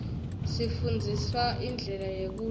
sifndziswa indlela yekudlala